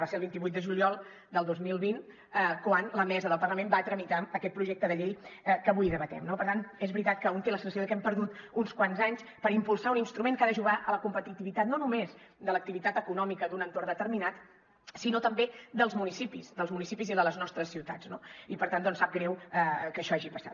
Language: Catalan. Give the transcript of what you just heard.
va ser el vint vuit de juliol del dos mil vint quan la mesa del parlament va tramitar aquest projecte de llei que avui debatem no per tant és veritat que un té la sensació de que hem perdut uns quants anys per impulsar un instrument que ha d’ajudar en la competitivitat no només de l’activitat econòmica d’un entorn determinat sinó també dels municipis dels municipis i de les nostres ciutats no i per tant sap greu que això hagi passat